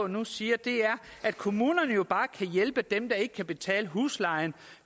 nu siger at kommunerne bare kan hjælpe dem der ikke kan betale huslejen